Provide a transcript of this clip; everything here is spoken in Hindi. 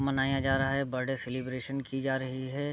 मनाया जा रहा है बर्थडे सेलिब्रेशन की जा रही है।